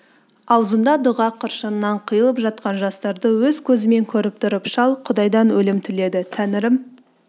ауызында дұға қыршынынан қиылып жатқан жастарды өз көзімен көріп тұр шал құдайдан өлім тіледі тәңірім